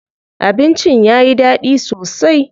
Abincin yayi daɗi sosai.